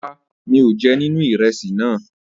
Rárá, mi ò jẹ nibi ìrẹsì náà.